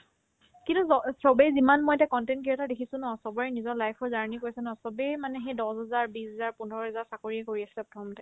কিন্তু চ ~ চবে যিমান মই এতিয়া content creator দেখিছো ন চবৰে নিজৰ life ৰ journey কৈছে ন চবেই মানে সেই দছহাজাৰ বিশহাজাৰ পোন্ধৰহাজাৰ চাকৰি কৰি আছিলে প্ৰথমতে